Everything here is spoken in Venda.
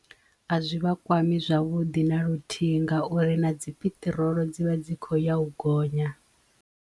A zwi vha kwami zwavhuḓi na luthihi ngauri na dzi piṱirolo dzivha dzi kho ya u gonya.